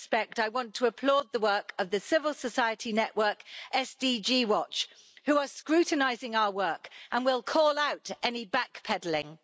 that respect, I want to applaud the work of the civil society network, SDG Watch, who are scrutinising our work and will call out any backpedalling.